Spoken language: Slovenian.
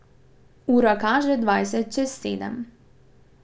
Ura kaže dvajset čez sedem.